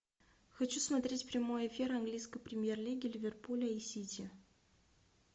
хочу смотреть прямой эфир английской премьер лиги ливерпуля и сити